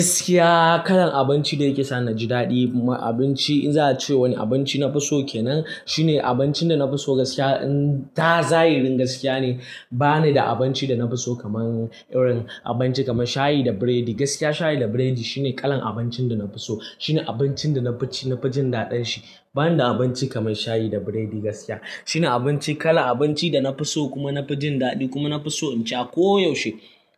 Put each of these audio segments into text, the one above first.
Gaskiya kalan abinci da yake sa ni ji dadi ma abinci in za a ce wani abinci nafi so kenan shine abincin da nafi so gaskiya. In za'irin gaskiya ne bani da abinci da nafi so kamar irin abinci kamar shayi da biredi gaskiya shayi da biredi shine kalan abincin da nafi so. Shine abincin da nafi jin daɗin shi. Ban da abinci kaman shayi da biredi gaskiya. Shine abinci, kallan abinci da na fiso kuma na fi jin dadi. Kuma na fi so sha. Ko yaushe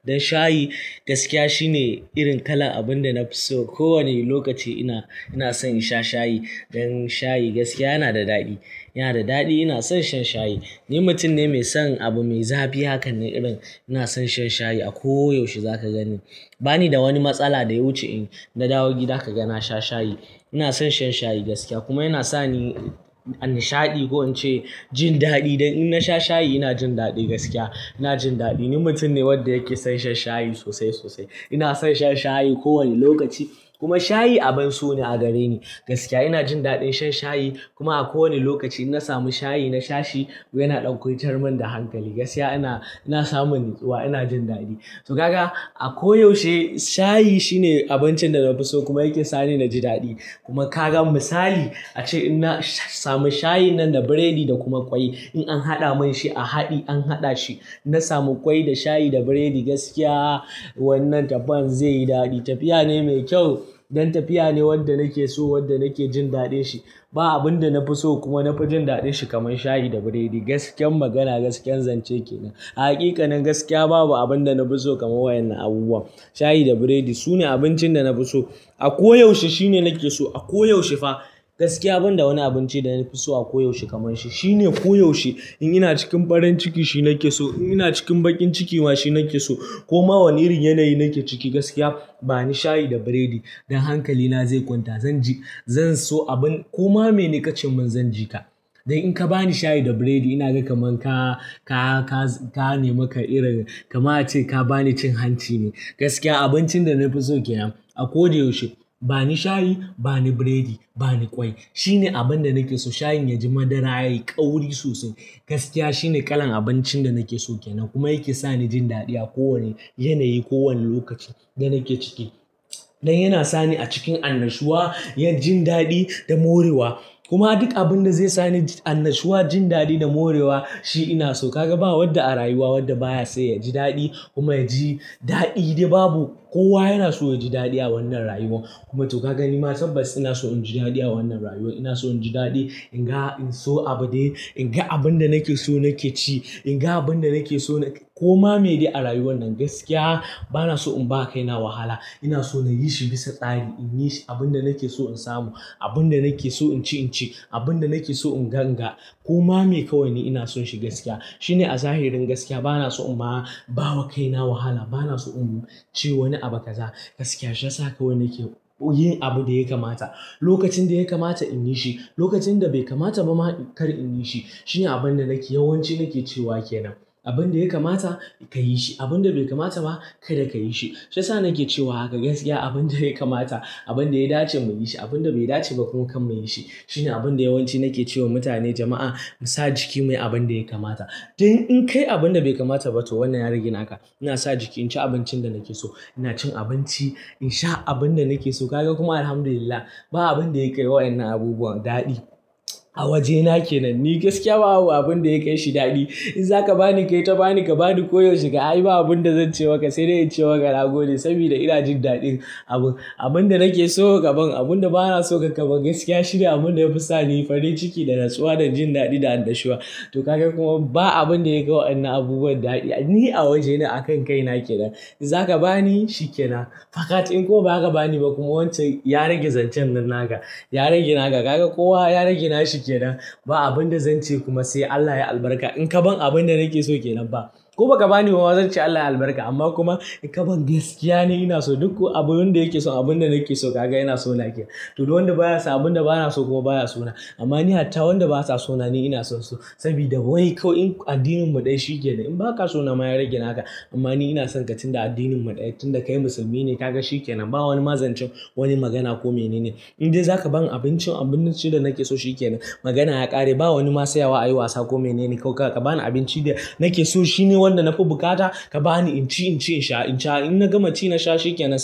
shayi gaskiya shine irin kala abun da na fiso. Ko wani lokaci ina san shan shayi. Dan shayi gaskiya yana da daɗi yana da daɗi ina son shan shayi. Ni mutum ne mai son abu mai zafi hakan ne irin ina son shan shayi a ko yaushe za ka gani. Bani da wani matsala da ya wuce in na dawo gida ka ga na sha shayi. Ina san shan shayi gaskiya kuma yana sani a nishadi ko nace jin dadi. Dan in na sha shayi ina jin daɗi gaskiya ina jin daɗi. Ni mutum ne wanda yake son shan shayi sosai sosai. Ina son shan shayi ko wane lokaci kuma shayi abun so ne a gare ni gaskiya. Ina jin daɗin shan shayi kuma a ko wane lokaci in na samu shayi na sha shi yana ɗan kwantar man da hankali gaskiya. Ina, ina samun natsuwa ina jin daɗi. To kaga a ko yaushe shayi shine abincin da nafi so kuma yake sa ni naji daɗi. Kuma ka gan misali ace in na samu shayin nan da biredi da kuma ƙwai in an haɗa mun shi a haɗi an haɗa shi. In na samu kwai da shayi da biredi, gaskiya wannan daban zainyo dadi. Tafiya ne mai kyau. Dan tafiya ne wanda nake so wanda nake jin daɗin shi. Ba abun da nafi so kuma nafi jin daɗin shi kamar shayi da biredi gaskiyar magana gaskiyar zance kenan. Hakika nan gaskiya babu abun da nafi so kamar wannan abubuwan shayi da biredi. Sune abincin da nafi so a ko yaushe shine nake so a ko yaushe fa gaskiya. Ban da wani abinci da nafi so a ko yaushe kamar shi shine ko yaushe. In ina cikin farin ciki shi nake so, in ina cikin baƙin ciki ma shi nake so kuma wani irin yanayi na ke ciki gaskiya bani shayi da biredi. Dan hankali na zai kwanta zan ji zan so abun kuma me ni ƙacin min zan jiƙa. Dan in ka bani shayi da biredi ina gan kamar ka, ka, ka, ka nemi ka irin kamar a ce ka bani cin hanci ne gaskiya. Abincin da na fiso kenan. A ko da yaushe. Bani shayi bani biredi bani kwai. Shine abun da nake so shayin ya ji madara yayi ƙauri sosai gaskiya shine kalan abincin da nake so kenan kuma yake sa ni jin daɗi a ko wane yanayi ko wane lokaci da nake ciki. Dan yana sa ni a cikin annashuwa, yin jin daɗi da morewa kuma duka abun da zai sa ni annashuwa jin daɗi da morewa shi ina so. Ka ga ba wanda a rayuwa wanda baya son ya ji daɗi kuma ya ji daɗi dai babu kowa yana so ya ji daɗi a wannan rayuwa kuma to ka gani ma tabbas ina so in ji daɗi a wannan rayuwa. Ina so in ji daɗi in ga in so abin dai in ga abun da nake so nake ci in ga abun da nake so na kuma me dai a rayuwan nan gaskiya bana so in ba kai na wahala. Ina so na yi shi bisa tsari. In yi abun da nake so in samu abun da nake so in ci in ci abun da nake so in ga in ga koma me kawai ne ina son shi gaskiya shine a zahirin gaskiya bana so in ba ba wa kaina wahala. Bana so in ce wani abu ka za gaskiya. Shi yasa kawai nake yin abu da ya kamata lokacin da ya kamata in yi shi lokacin da bai kamata ba ma kar in yi shi shine abun da nake yawanci nake cewa kenan. Abun da ya kamata ka yi shi abun da bai kamata ba kada ka yi shi. Shi yasa nake cewa haka gaskiya abun da ya kamata abun da ya dace mu yi shi abun da bai dace ba kuma kam nake yi shi shine abun da yawanci nake ce wa mutane jama'a mu sa jiki muyi abun da ya kamata. Dai in kayi abun da bai kamata to wannan ya rage naka. Ina sa jiki in ci abincin da nake so ina cin abinci in sha abun da nake so ka gan kuma Alhamdulillah ba abun da ya kai waennan abubuwan daɗi a waje na kenan ni gaskiya. Babu abun da ya kai shi daɗi. In za ka ba ni kai ta bani ka ba ni ko yaushe ka a yi ba abun da zan ce maka sai dai in ce maka nagode. Saboda ina jin daɗin abun abun da nake so ka bamin abun da bana so ka kabon gaskiya shine abun da ya fi sa ni fadi ciki da natsuwa da jin daɗi da annashuwa. To kaga kuma ba abun da ya kai wannan abubuwan daɗi a waje na akan kai na kenan. In za ka ba ni shi kenan fa ƙace in kuma ba ka ba ni ba kuma wancan ya rage zancen nan na ka ya rage na ka. Kaga kowa ya rage na shi kenan ba abun da zan ce kuma sai Allah ya albarka in ka ban abun da nake so kenan ba ko ba ka ba ni ba ma zan ce Allah ya albarka. Amma kuma in ka ban gaskiya ne ina so duk abun wanda yake so abun da nake so ka ga ina so na ke to dai wanda baya so abun da bana so kuma baya so na. Amma ni hatta wanda basa so na ni ina so su saboda wai kawai addinin mu ɗaya shi kenan. In ba ka so na ma ya rage na ka. Amma ni ina son ka tun da addinin mu ɗaya tun da kai musulmi ne ka ga shi kenan. Ba wani ma zancen wani magana ko mene ne. In dai za ka ban abincin abun cire nake so shi kenan magana ya ƙare. Ba wani ma sayawa a yi wasa ko menene. Ko ka ka ba ni abinci da nake so shine wanda na fi buƙata ka ba ni in ci in ci in sha in sha in na gama ci na sha shi kenan.